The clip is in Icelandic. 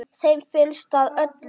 Þeim finnst það öllum.